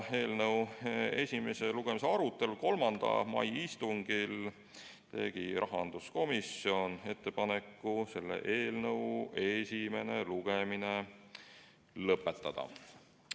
Eelnõu esimese lugemise arutelul 3. mai istungil tegi rahanduskomisjon ettepaneku selle eelnõu esimene lugemine lõpetada.